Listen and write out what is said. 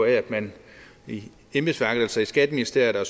af at man i embedsværket altså i skatteministeriet og